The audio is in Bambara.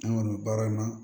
An kɔni baara ma